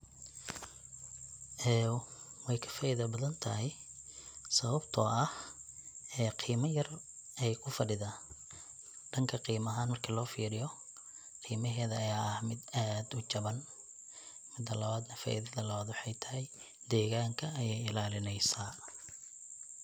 Weey ka faaida badan tahay sabatoo ah qiima yar ay kufadhidaa, danka qiima ahaan marka loo firiyo qiimaheeda ayaa ah mid aad ujawan. Mida lawaad na faida lawaad na waxey tahay degaanka ayeey ilalineysaa .